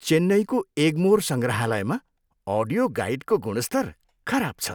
चेन्नईको एगमोर सङ्ग्रहालयमा अडियो गाइडको गुणस्तर खराब छ।